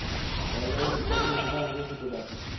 তাহলে ওর কত income? একটু দেখাও